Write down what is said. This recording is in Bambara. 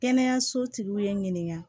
Kɛnɛyaso tigiw ye n ɲininka